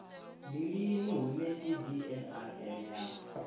ndi lini hune cbnrm ya